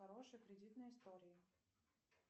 хорошая кредитная история